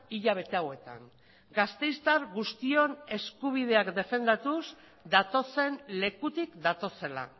hilabete hauetan gasteiztar guztion eskubideak defendatuz datozen lekutik datozela